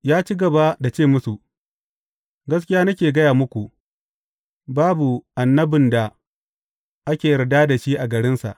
Ya ci gaba, da ce musu, Gaskiya nake gaya muku, babu annabin da ake yarda da shi a garinsa.